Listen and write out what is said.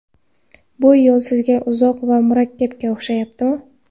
Bu yo‘l sizga uzoq va murakkabga o‘xshayaptimi?